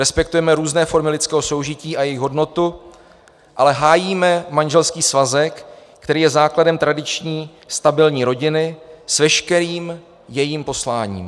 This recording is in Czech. Respektujeme různé formy lidského soužití a jejich hodnotu, ale hájíme manželský svazek, který je základem tradiční stabilní rodiny s veškerým jejím posláním.